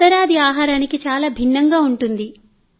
ఉత్తరాది ఆహారానికి చాలా భిన్నంగా ఉంటుంది